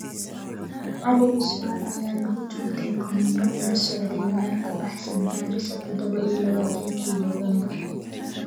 Cali cusman ayaa lagu toogtay kolonyo uu la socday meel ka baxsan Garissa Tadabo iyo labatankii November.